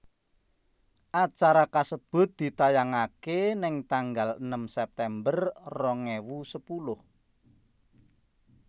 Acara kasebut ditayangaké ning tanggal enem September rong ewu sepuluh